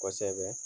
Kosɛbɛ